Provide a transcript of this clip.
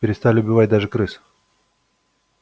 перестали убивать даже крыс